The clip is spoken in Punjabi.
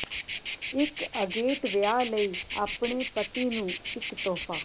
ਇਕ ਅਗੇਟ ਵਿਆਹ ਲਈ ਆਪਣੇ ਪਤੀ ਨੂੰ ਇਕ ਤੋਹਫ਼ਾ